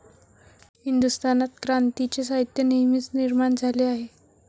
हिंदुस्थानात क्रांतीचे साहित्य नेहमीच निर्माण झाले आहे.